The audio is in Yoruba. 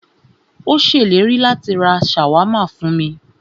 Ó ṣèlérí láti rá ṣàwámà fún mí.